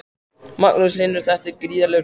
Magnús Hlynur: Þetta er gríðarlegur peningur?